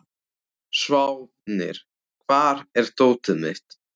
Sváfnir, hvar er dótið mitt?